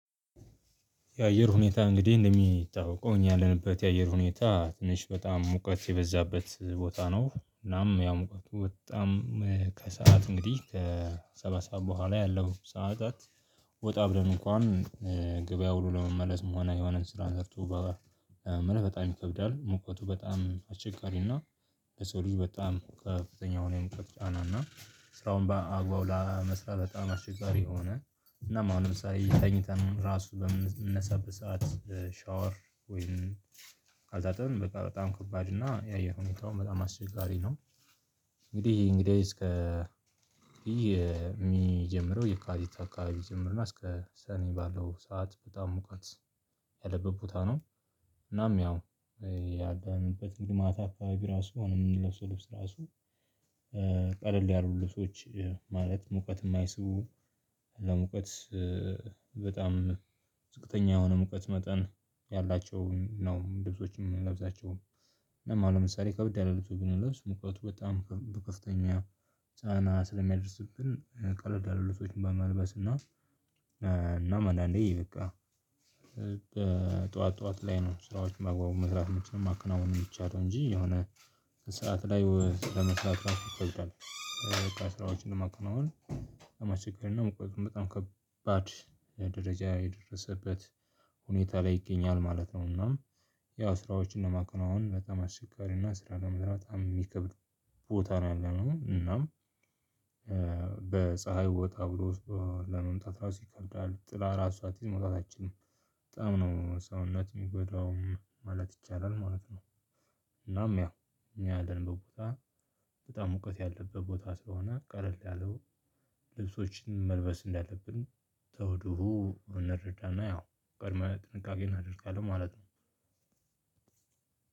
የአየር ሁኔታ እንግዲህ እንደሚታወቀው እኛ ያለንበት የአየር ሁኔታ ትንሽ በጣም ሙቀት የበዛበት ቦታ ነው። ምናምን ያው ሙቀቱ በጣም ከሰአት እንግዲህ ከሰባት ሰዓት በኋላ ያለው ሰዓታት ወጣ ብለን እንኳን ገበያ ሁሉ ለመመለስ እንኳን የሆነን ስራን ዘርቶ እምልህ በጣም ይከብዳል። ሙቀቱ በጣም አስቸጋሪና ለሰው ልጅ በጣም ከፍተኛ የሙቀት ጫናና ስራውን በአግባቡው ለመስራት በጣም አስቸጋሪ የሆነ እና ማለ አሁን ለምሳሌ ተኝተን ራሱ በምንነሳበት ሰዓት ሻወር ወይም ካልታጠብን በቃ በጣም ከባድ እና የአየር ሁኔታውም በጣም አስቸጋሪ ነው። እንግዲህ እንግዲህ እስከ የሚጀምረው የካቲት አካባቢ ጀምሮና እስከ ሰኔ ባለው ሰዓት በጣም ሙቀት ያለበት ቦታ ነው። እናም ያው ያዳነበት ወደ ማታ አካባቢ ራሱ የምንለብስ ልብስ ራሱ ቀለል ያሉ ልጆች ማለት ሙቀት የማይስቡ ለሙቀት በጣም ዝቅተኛ የሆነ ሙቀት መጠን ያላቸውን ነው ልብሶችን የምንለብሳቸውን አሁን ለማለው ምሳሌ ከበድ ያሉ ልብሶች ብንለብስ ሙቀቱ በጣም በከፍተኛ ጫና ስለሚያደርስብን ቀለል ልብሶች በመልበስ እና። እናም አንዳንዴ በቃ ጠዋት ጠዋት ላይ ነው ስራዎች መግባቡ መስራት መቻሉን ማከናወን የሚቻለው እንጂ የሆነ ስራ ላይ ለመስራት ራሱ ይከብዳል። ስራዎችን ለማከናወን አለማቸገር እና መቁረጡን በጣም ከባድ ደረጃ የደረሰበት ሁኔታ ላይ ይገኛል ማለት ነው። እና ያው ስራዎችም ለማከናወን በጣም አስቸጋሪ እና ስራ ለመስራት በጣም የሚከብድ ቦታ ነው የሚሆነው እና። በፀሀይ ቦታ አብሮ ለመምጣት እራሱ ይከብዳል ጥላ አራት ሰዓት መውጣት አይችልም በጣም ነው ሰውነት የሚጎዳው ማለት ይቻላል ማለት ነው። እናም ያ እኛ ያለንበት ቦታ በጣም ሙቀት ያለበት ቦታ ስለሆነ ቀለል ያሉ ልብሶችን መልበስ እንዳለብን ከውድሁ እንረዳና ያው ቅድመ ጥንቃቄ እናደርጋለን ማለት ነው።